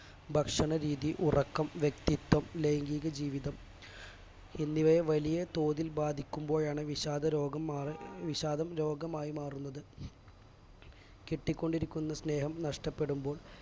ഭക്ഷണരീതി ഉറക്കം വ്യക്തിത്വം ലൈംഗീക ജീവിതം എന്നിവയെ വലിയ തോതിൽ ബാധിക്കുമ്പോഴാണ് വിഷാദരോഗം ഏർ വിഷാദം രോഗമായി മാറുന്നത്